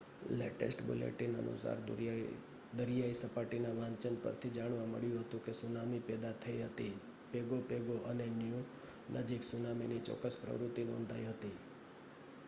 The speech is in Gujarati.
લેટેસ્ટ બુલેટિન અનુસાર દરિયાઈ સપાટીના વાંચન પરથી જાણવા મળ્યું હતું કે સુનામી પેદા થઈ હતી પેગો પેગો અને ન્યુ નજીક સુનામીની ચોક્કસ પ્રવૃત્તિ નોંધાઈ હતી